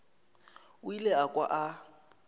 o ile a kwa a